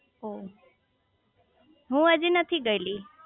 ઓહ હું હજી નથી ગયેલી